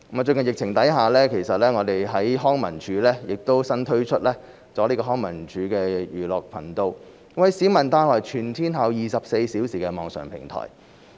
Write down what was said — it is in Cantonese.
最近疫情下，康文署新推出"康文署寓樂頻道"，為市民帶來全天候24小時的網上平台。